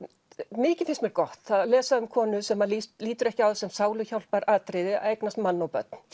mikið finnst mér gott að lesa um konu sem lítur ekki á það sem sáluhjálparatriði að eignast mann og börn